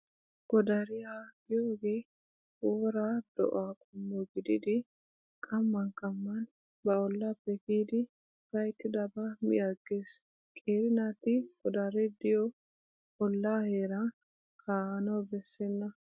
Godariyaa giyoogee wora do'aa qommo gididi qamman qamman ba ollaappe kiyidi gayttidabaa mi aggees . Qeeri naati godaree diyo ollaa heeran kaa'anawu bessenna.